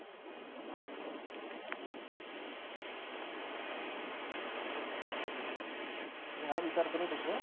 मी हा विचार करत होतो.